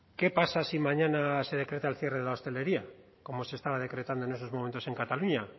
qué pasa si mañana se decreta el cierre de la hostelería como se estaba decretando en esos momentos en cataluña